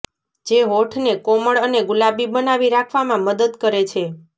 જે હોઠને કોમળ અને ગુલાબી બનાવી રાખવામાં મદદ કરે છે